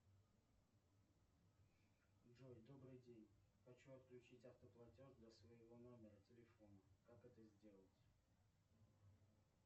джой добрый день хочу отключить автоплатеж для своего номера телефона как это сделать